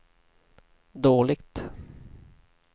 dåligt